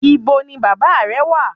Ibo ni Baba re wa?